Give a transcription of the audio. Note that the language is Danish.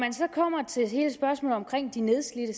de nedslidte